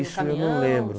Caminhão? Isso eu não lembro.